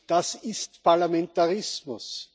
Das ist Parlamentarismus.